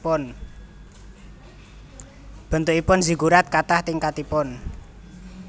Bentukipun Ziggurat katah tingkatipun